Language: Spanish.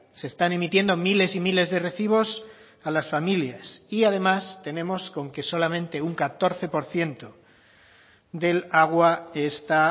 se están emitiendo miles y miles de recibos a las familias y además tenemos con que solamente un catorce por ciento del agua está